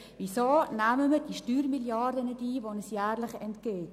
Weshalb nehmen wir die Steuermilliarde nicht ein, die uns jährlich entgeht?